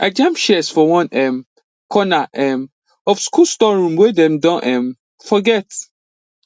i jam shears for one um corner um of school storeroom wey dem don um forget